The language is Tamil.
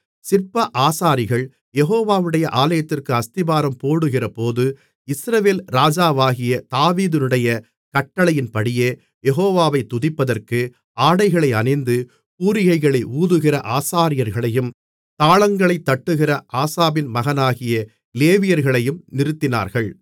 சிற்ப ஆசாரிகள் யெகோவாவுடைய ஆலயத்திற்கு அஸ்திபாரம் போடுகிறபோது இஸ்ரவேல் ராஜாவாகிய தாவீதுடைய கட்டளையின்படியே யெகோவாவை துதிப்பதற்கு ஆடைகளை அணிந்து பூரிகைகளை ஊதுகிற ஆசாரியர்களையும் தாளங்களைத் தட்டுகிற ஆசாபின் மகனாகிய லேவியர்களையும் நிறுத்தினார்கள்